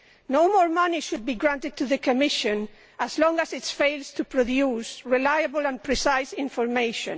No more money should be granted to the Commission as long as it fails to produce reliable and precise information.